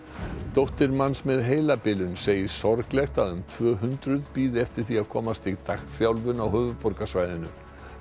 dóttir manns með heilabilun segir sorglegt að um tvö hundruð bíði eftir að komast í dagþjálfun á höfuðborgarsvæðinu